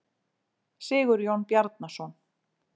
Sigurjón Bjarnason.